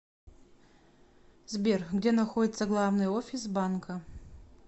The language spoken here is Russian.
сбер где находится главный офис банка